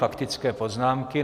Faktické poznámky.